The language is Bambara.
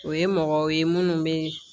O ye mɔgɔw ye minnu bɛ